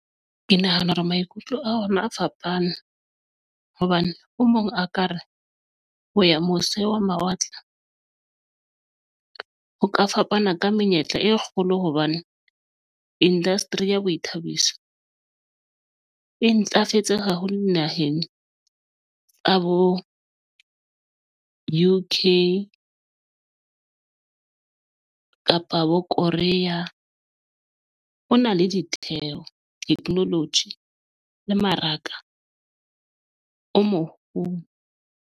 Ke nahana hore maikutlo a rona a fapane hobane o mong a ka re ho ya mose wa mawatle ho ka fapana ka menyetla e kgolo hobane industry ya boithabiso e ntlafetse haholo naheng tsa bo UK kapa bo Korea, ho na le ditheo technology le mmaraka o moholo.